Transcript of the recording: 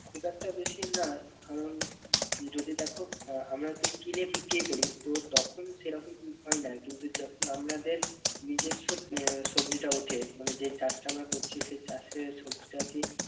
খুব একটা বেশি না কারণ যদি দেখো আহ আমরা যদি কিনে বিক্রি করি তো তখন সেরকম হয় না কিন্তু যখন আমাদের নিজস্ব আহ সবজিটা ওঠে মানে যে চাষটা আমরা করছি সেই চাষের সবজিটি কে